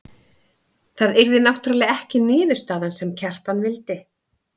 Það yrði náttúrlega ekki niðurstaðan sem Kjartan vildi.